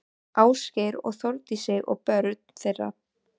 Ásgeir og Þórdísi og börn þeirra.